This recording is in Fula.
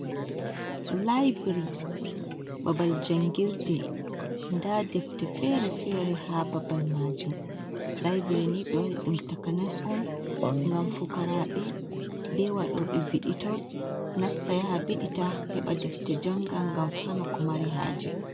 Laaibri, babal jangirde, nda defte fere-fere haa babal maajum, laaibri ni ɓe waɗi ɗum takanas on ngam fukaraaɓe, be waɗoɓe viditol nasta yaha vidita, heɓa defte janga ngam faama ko mari haaje.